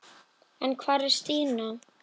En hvar var Stína?